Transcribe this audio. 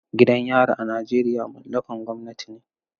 Gidan yari a Najeriya mallakan gwamnati ne.